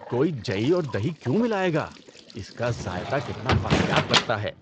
کوئی جئی اور دہی کیوں ملائے گا؟ اس کا ذائقہ کتنا واہیات لگتا ہے۔